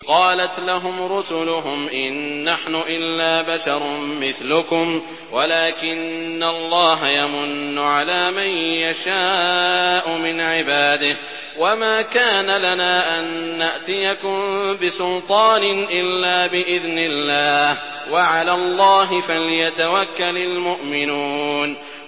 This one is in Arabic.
قَالَتْ لَهُمْ رُسُلُهُمْ إِن نَّحْنُ إِلَّا بَشَرٌ مِّثْلُكُمْ وَلَٰكِنَّ اللَّهَ يَمُنُّ عَلَىٰ مَن يَشَاءُ مِنْ عِبَادِهِ ۖ وَمَا كَانَ لَنَا أَن نَّأْتِيَكُم بِسُلْطَانٍ إِلَّا بِإِذْنِ اللَّهِ ۚ وَعَلَى اللَّهِ فَلْيَتَوَكَّلِ الْمُؤْمِنُونَ